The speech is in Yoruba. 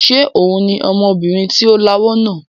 Ṣé òun ni ọmọbìnrin tí ó lawọ́ náà?